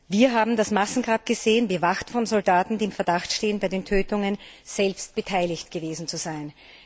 Wir haben das Massengrab gesehen, bewacht von Soldaten, die im Verdacht stehen, bei den Tötungen selbst beteiligt gewesen zu sein.